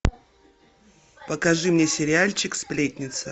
покажи мне сериальчик сплетница